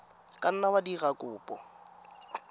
ka nna wa dira kopo